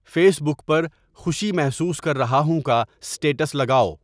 face بک پر خوشی محسوس کر رہا ہوں کا اسٹیٹس لگاؤ